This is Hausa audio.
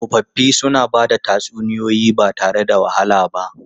Tsofaffi suna ba da tatsuniyoyi ba tare da wahala ba.